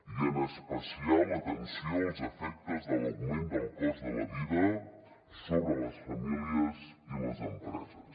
i en especial l’atenció als efectes de l’augment del cost de la vida sobre les famílies i les empreses